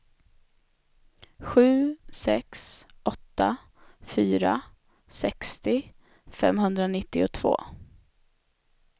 sju sex åtta fyra sextio femhundranittiotvå